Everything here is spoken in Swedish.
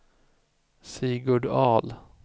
Sigurd Ahl